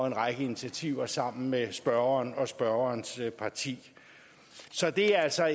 en række initiativer sammen med spørgeren og spørgerens parti så det er altså